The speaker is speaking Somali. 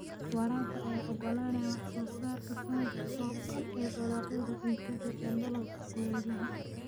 Waraabka ayaa ogolaanaya wax soo saarka sanadka oo dhan ee dalagyada cuntada ee dalalka kulaylaha.